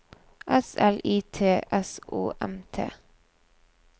S L I T S O M T